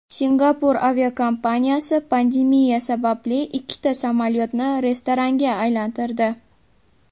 Singapur aviakompaniyasi pandemiya sababli ikkita samolyotni restoranga aylantirdi.